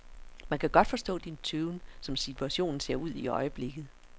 Man kan godt forstå din tøven, som situationen ser ud i øjeblikket.